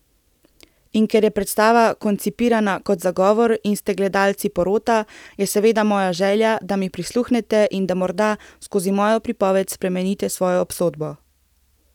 In ker je predstava koncipirana kot zagovor in ste gledalci porota, je seveda moja želja, da mi prisluhnete in da morda, skozi mojo pripoved spremenite svojo obsodbo.